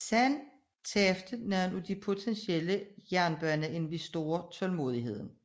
Så tabte nogle af de potentielle jernbaneinvestorer tålmodigheden